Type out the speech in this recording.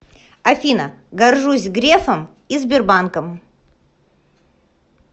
афина горжусь грефом и сбербанком